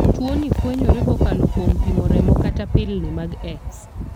Tuo ni fwenyore kokalo kuom pimo remo kata pilni mag X.